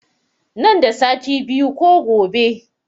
Nan da sati biyu ko gobe